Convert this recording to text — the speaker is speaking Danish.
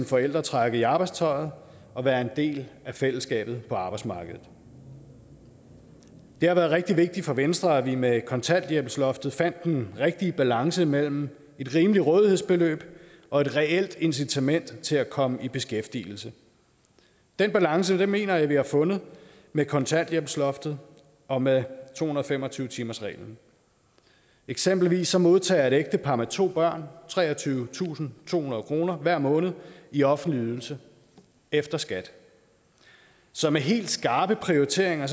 forældre trække i arbejdstøjet og være en del af fællesskabet på arbejdsmarkedet det har været rigtig vigtigt for venstre at vi med kontanthjælpsloftet fandt den rigtige balance mellem et rimeligt rådighedsbeløb og et reelt incitament til at komme i beskæftigelse den balance mener jeg vi har fundet med kontanthjælpsloftet og med to hundrede og fem og tyve timersreglen eksempelvis modtager et ægtepar med to børn treogtyvetusinde og tohundrede kroner hver måned i offentlig ydelse efter skat så med helt skarpe prioriteringer